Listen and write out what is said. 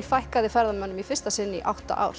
fækkaði ferðamönnum í fyrsta sinn í átta ár